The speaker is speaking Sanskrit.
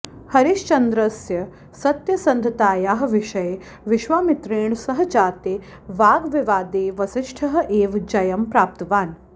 हरिश्चन्द्रस्य सत्यसन्धतायाः विषये विश्वामित्रेण सह जाते वाग्विवादे वसिष्ठः एव जयं प्राप्तवान्